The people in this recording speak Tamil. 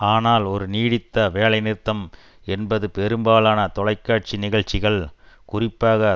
ஆனால் ஒரு நீடித்த வேலைநிறுத்தம் என்பது பெரும்பாலான தொலைக்காட்சி நிகழ்ச்சிகள் குறிப்பாக